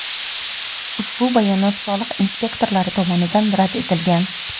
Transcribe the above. ushbu bayonot soliq inspektorlari tomonidan rad etilgan.